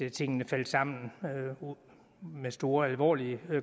at tingene faldt sammen med store alvorlige